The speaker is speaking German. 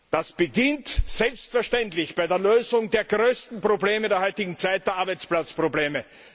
Das beginnt selbstverständlich bei der Lösung der größten Probleme der heutigen Zeit, der Arbeitsplatzprobleme.